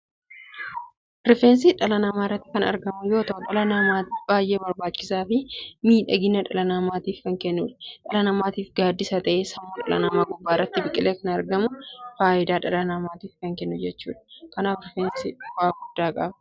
Rifeensi dhala namaa irratti kan argamu yoo ta'u dhala namaatiif baay'ee barbaachisaa fi miidhagina dhala namaatiif kan kennuudha. Dhala namaatiif gaaddisa ta'ee sammuu dhala namaa gubbaa irratti biqilee argama. Faayidaa dhala namaatiif kan kennu jechuudha. Kanaaf rifeensi faayidaa guddaa qaba.